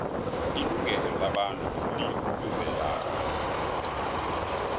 ilungelo labantu likuzelapha